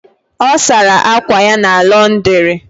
O sara akwa ya na Londiri